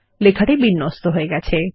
লেখাটি বিন্যস্ত হয়ে গেছে